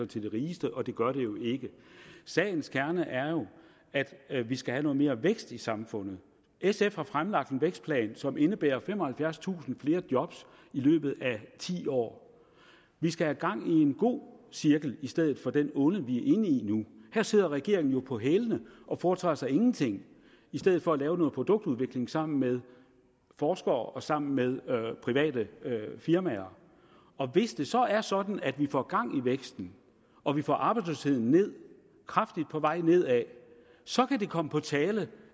til de rigeste og det gør det jo ikke sagens kerne er jo at vi skal have noget mere vækst i samfundet sf har fremlagt en vækstplan som indebærer femoghalvfjerdstusind flere job i løbet af ti år vi skal have gang i en god cirkel i stedet for den onde vi er inde i her sidder regeringen jo på hælene og foretager sig ingenting i stedet for at lave noget produktudvikling sammen med forskere og sammen med private firmaer hvis det så er sådan at vi får gang i væksten og vi får arbejdsløsheden ned kraftigt på vej nedad så kan det komme på tale